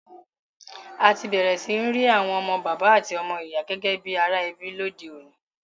A ti bẹ̀rẹ̀ si ni ri àwon ọmọ bàbá àti ọmọ ìyà gẹ́gẹ́ bi ara ebí lodeọ̀ní